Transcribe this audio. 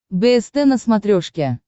бст на смотрешке